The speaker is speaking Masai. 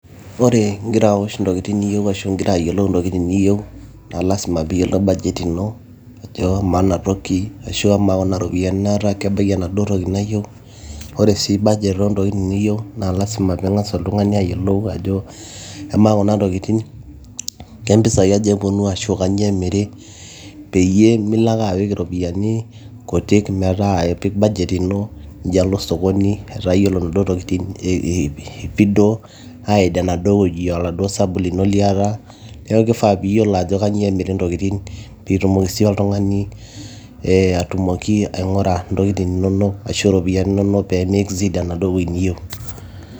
Ore ingira awosh intokitin niyieu ashuu ingira ayiolou intokitin niyieu naa lazima naa lazima peeyiolou budget ino ajo amaa enatoki ashuu amaa kuna ropiyiani naata kebaiki enaduo toki nayieu ore sii budget oontokitin nayieu naa lazima pee ing'as oltung'ani ayiolou ajo emaa kuna tokitin kempisai aja eponu ashuu kanyioo emiri peyie milo ake apik iropiyiani kutik metaa metii budget ino metaa kalo sokoni ata yiolo inaduoo tokitin ajo eipido aaid enaduo wueji oladuo sabu lino liata neeku keifaa peeyiolo ajo kanyioo emiri intokitin peeitumoki sii oltung'ani eetumoki aing'ura intokitin inonok ashuu iropiyiani inonok pee exceed enaduo toki niyieu.